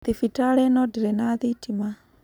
Thibitarĩ ĩno ndĩrĩ na thitima.